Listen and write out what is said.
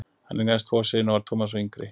Hann eignaðist tvo syni og var Thomas sá yngri.